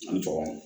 An tɔgɔ